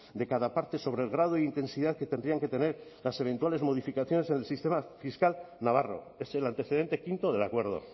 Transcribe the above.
de cada parte sobre el grado de intensidad que tendrían que tener las eventuales modificaciones en el sistema fiscal navarro es el antecedente quinto del acuerdo